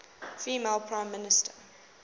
female prime minister